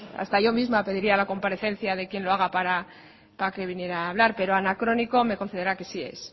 hasta yo misma pediría la comparecencia de quien lo haga para que viniera hablar pero anacrónico me concederá que sí es